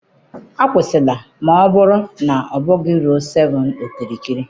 akwụsịla, ma ọ bụrụ na ọ bụghị ruo 7 okirikiri